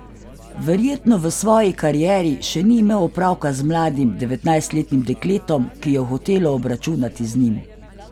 Verjetno v svoji karieri še ni imel opravka z mladim devetnajstletnim dekletom, ki je hotelo obračunati z njim.